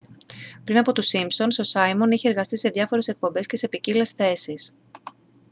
πριν από τους σίμπσονς ο σάιμον είχε εργαστεί σε διάφορες εκπομπές και σε ποικίλες θέσεις